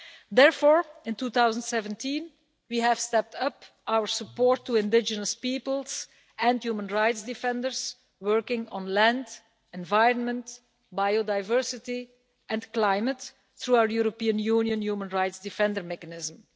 Therefore, in 2017, we stepped up our support for indigenous peoples, and for human rights defenders working on land, environment, biodiversity and climate, through the European Union human rights defenders mechanism.